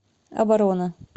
оборона